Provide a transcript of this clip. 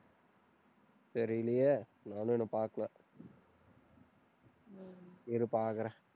தெரியலயே. நானும் இன்னும் பாக்கல இரு பாக்குறேன்.